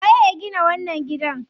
Waye ya gina wannan gidan?